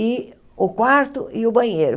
e o quarto e o banheiro.